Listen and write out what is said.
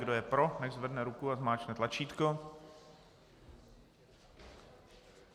Kdo je pro, nechť zvedne ruku a zmáčkne tlačítko.